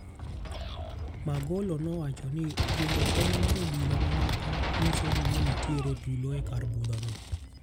Magolo nowacho ni luongo kony mar obila mamoko nyiso ni nenitiere tulo e kar budho no.